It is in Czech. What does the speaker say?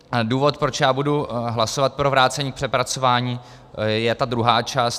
Důvod, proč já budu hlasovat pro vrácení k přepracování, je ta druhá část.